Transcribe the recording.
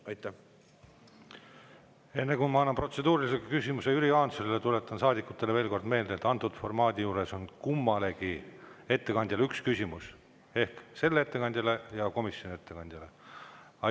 Enne kui ma annan protseduurilise küsimuse Jüri Jaansonile, tuletan saadikutele veel kord meelde, et antud formaadi juures on üks küsimus kummalegi ettekandjale ehk sellele ettekandjale ja komisjoni ettekandjale.